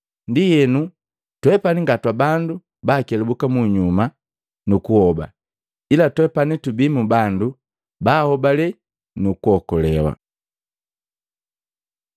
Ndienu, twepani nga twabandu baakelabuka munyuma nu kuhoba, ila twepani tubii mu bandu baahobale nu kuokolewa.